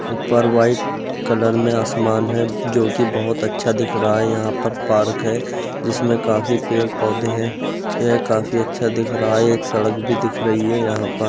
ऊपर white colour में आसमान है जो कि बहुत अच्छा दिख रहा है। यहां पर पार्क है जिसमें काफी पेड़ पौधे हैं। यह काफी अच्छा दिख रहा है। एक सड़क भी दिख रही है यहां पर।